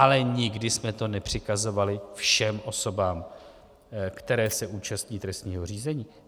Ale nikdy jsme to nepřikazovali všem osobám, které se účastní trestního řízení.